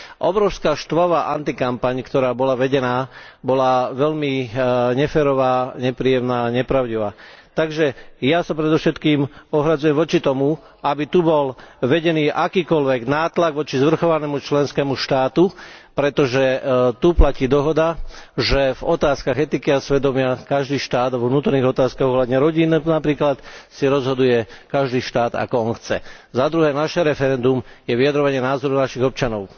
Obrovská štvavá antikampaň, ktorá bola vedená, bola veľmi neférová a nepravdivá, takže ja sa predovšetkým ohradzujem voči tomu, aby tu bol vedený akýkoľvek nátlak voči zvrchovanému členskému štátu, pretože tu platí dohoda, že v otázkach etiky a svedomia každý štát, vo vnútorných otázkach ohľadom rodiny, napríklad, si rozhoduje každý štát, ako on chce. Za druhé, naše referendum je vyjadrovanie názoru našich občanov.